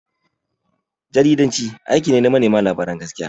Jaridanci aiki ne na manema labaran gaskiya.